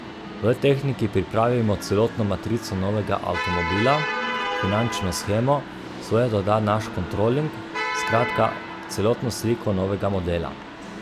V tehniki pripravimo celotno matrico novega avtomobila, finančno shemo, svoje doda naš kontroling, skratka, celotno sliko novega modela.